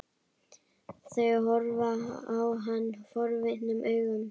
Þau horfa á hann forvitnum augum.